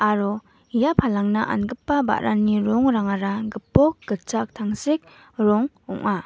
aro ia palangna angipa ba·rani rongrangara gipok gitchak tangsek rong ong·a.